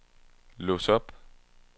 lås op